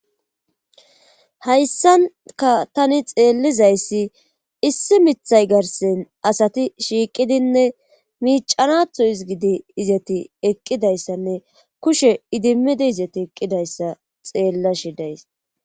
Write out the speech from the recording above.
hayssanka tani xeellizayssi issi mithay garsen asati shiiqidinne miicanatho ezgidi izeti eqqidayssanne kushe idimmidi izeti eqqidayssa xeellashe days.